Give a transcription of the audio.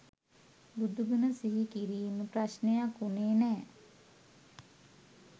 බුදු ගුණ සිහි කිරීම ප්‍රශ්නයක් වුණේ නෑ.